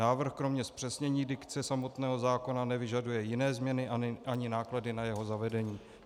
Návrh kromě zpřesnění dikce samotného zákona nevyžaduje jiné změny ani náklady na jeho zavedení.